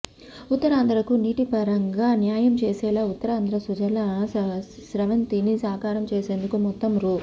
ఉత్తరాంధ్రకు నీటిపరంగా న్యాయం చేసేలా ఉత్తరాంధ్ర సుజల స్రవంతిని సాకారం చేసేందుకు మొత్తం రూ